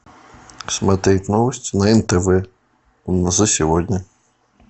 смотреть новости на нтв за сегодня